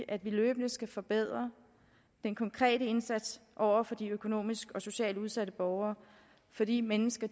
at vi løbende skal forbedre den konkrete indsats over for de økonomisk og socialt udsatte borgere for de mennesker